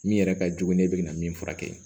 Min yɛrɛ ka jugu n'e bɛ na min furakɛ